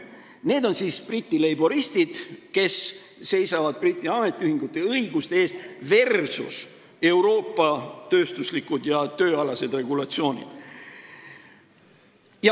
Need on Briti leiboristid, kes seisavad Briti ametiühingute õiguste eest versus Euroopa tööstuslikud ja tööalased regulatsioonid.